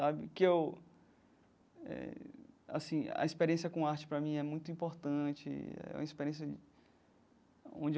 Sabe que eu eh assim...a experiência com arte, para mim, é muito importante é uma experiência onde eu.